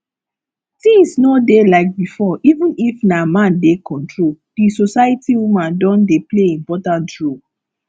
things no dey like before even if na man dey control di society woman don dey play important role